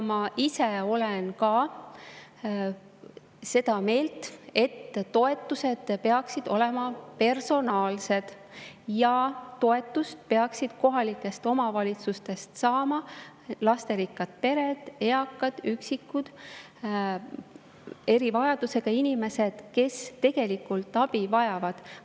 Ma ise olen ka seda meelt, et toetused peaksid olema personaalsed ja toetust peaksid kohalikest omavalitsustest saama lasterikkad pered, eakad ja üksikud erivajadusega inimesed, kes tegelikult abi vajavad.